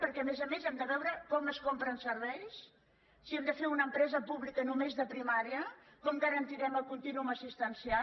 perquè a més a més hem de veure com es compren serveis si hem de fer una empresa pública només de primària com garantirem el contínuum assistencial